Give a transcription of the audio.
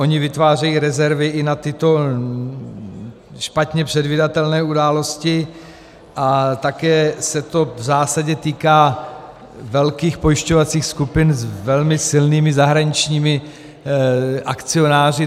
Oni vytvářejí rezervy i na tyto špatně předvídatelné události a také se to v zásadě týká velkých pojišťovacích skupin s velmi silnými zahraničními akcionáři.